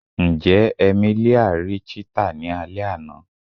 Njẹ Emelia ri cheetah ni alẹ ana?